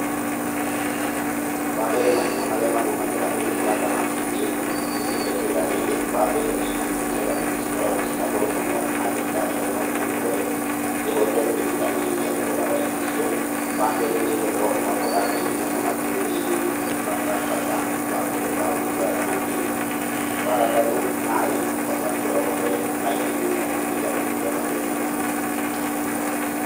Wa mbere mathĩna marĩa magũmagĩra ũrĩmi wa thamaki thĩ-inĩ wa itũra rĩrĩ, wa mbere nĩ irio, irio cia thamaki cikoragwo ciĩna goro mũno na thirikari hau no twĩhoe ĩhote kũnyihanyihia thogora wa irio icio, wa kerĩ nĩ thoko, ũgakora andũ aingĩ matiũĩ bata wa ũrĩĩ wa thamaki, wa gatatũ maĩ matikoragwo me maingĩ mũno kũringana na ũrĩa marendekana.